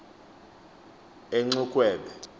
enxukhwebe